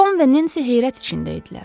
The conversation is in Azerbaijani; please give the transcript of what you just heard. Tom və Nensi heyrət içində idilər.